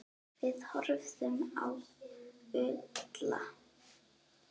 Við horfðum á Úlla.